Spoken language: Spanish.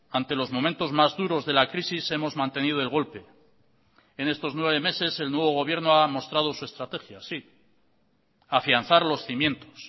ante los momentos más duros de la crisis hemos mantenido el golpe en estos nueve meses el nuevo gobierno ha mostrado su estrategia sí afianzar los cimientos